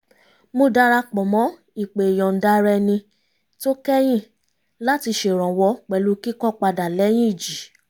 mo darapọ̀ mọ́ ìpè ìyọ̀nda-ara-ẹni tó kẹ́yìn láti ṣèrànwọ́ pẹ̀lú kíkọ́ padà lẹ́yìn ìjì